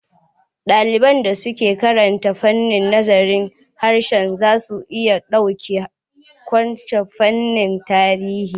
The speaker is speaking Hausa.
Ɗaliban da suke karanta fannin nazarin harshe za su iya ɗaukar kwas a fannin tarihi.